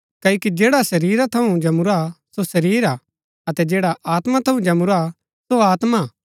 क्ओकि जैडा शरीरा थऊँ जमूरा हा सो शरीर हा अतै जैडा आत्मा थऊँ जमूरा सो आत्मा हा